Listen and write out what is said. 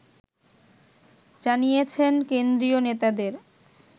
জানিয়েছেন কেন্দ্রীয় নেতাদের